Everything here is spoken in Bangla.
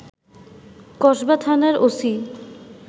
কসবা থানার ওসি